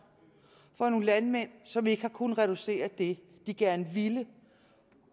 for nogle landmænd som ikke har kunnet reducere med det de gerne ville